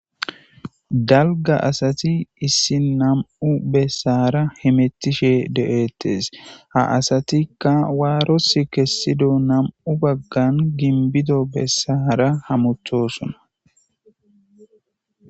Dalga asati issi nam'u besara hamutishe de'etees. Ha asatika waarosi kezidi nam'u bagan gimbido besara hamutosona.